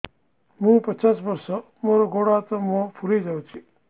ମୁ ପଚାଶ ବର୍ଷ ମୋର ଗୋଡ ହାତ ମୁହଁ ଫୁଲି ଯାଉଛି